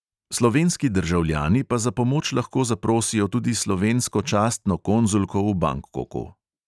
Slovenski državljani pa za pomoč lahko zaprosijo tudi slovensko častno konzulko v bangkoku.